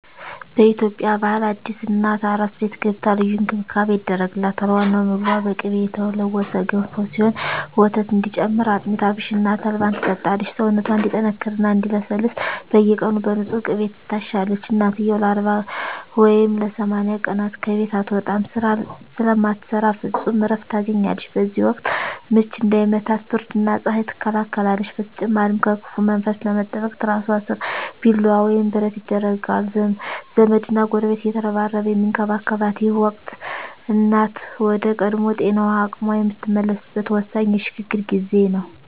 በኢትዮጵያ ባህል አዲስ እናት "አራስ ቤት" ገብታ ልዩ እንክብካቤ ይደረግላታል። ዋናው ምግቧ በቅቤ የተለወሰ ገንፎ ሲሆን፣ ወተት እንዲጨምር አጥሚት፣ አብሽና ተልባን ትጠጣለች። ሰውነቷ እንዲጠነክርና እንዲለሰልስ በየቀኑ በንፁህ ቅቤ ትታሻለች። እናትየው ለ40 ወይም ለ80 ቀናት ከቤት አትወጣም፤ ስራ ስለማትሰራ ፍጹም እረፍት ታገኛለች። በዚህ ወቅት "ምች" እንዳይመታት ብርድና ፀሐይ ትከላከላለች። በተጨማሪም ከክፉ መንፈስ ለመጠበቅ ትራሷ ስር ቢላዋ ወይም ብረት ይደረጋል። ዘመድና ጎረቤት እየተረባረበ የሚንከባከባት ይህ ወቅት፣ እናት ወደ ቀድሞ ጤናዋና አቅሟ የምትመለስበት ወሳኝ የሽግግር ጊዜ ነው።